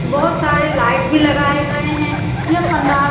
बहुत सारी लाईट भी लगाए गए हैं यह पडांल --